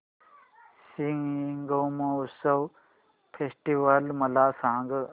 Shigmotsav festival मला सांग